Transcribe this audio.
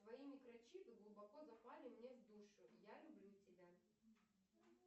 твои микрочипы глубоко запали мне в душу я люблю тебя